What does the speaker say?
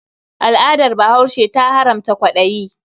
Al'adar Bahaushe ta haramta kwaɗayi.